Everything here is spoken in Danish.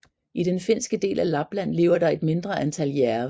I den finske del af Lapland lever der et mindre antal jærve